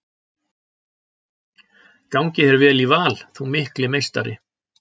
Gangi þér vel í Val þú mikli meistari!